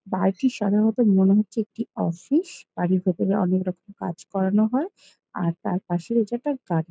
বাড়িটি সাধারণত মনে হচ্ছে একটা অফিস । বাড়ির ভেতর অনেক রকমের কাজ করানো হয় আর তার পাশে রয়েছে একটা গাড়ি।